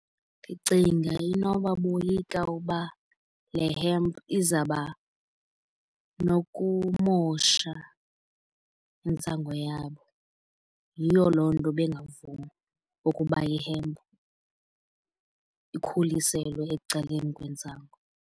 Ndicinga inoba boyika uba le hemp izaba nokumosha intsangu yabo. Yiyo loo nto bengavumi ukuba i-hemp ikhuliselwe ecaleni kwentsango.